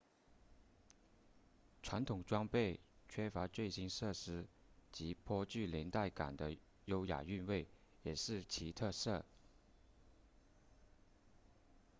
传统装备缺乏最新设施及颇具年代感的优雅韵味也是其特色